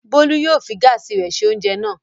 Bólú yóò fi gáásì se oúnjẹ náà.